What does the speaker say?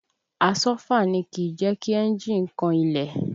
Àsọ́fà ni kìí jẹ́ kí ẹ̀njì kan ilẹ̀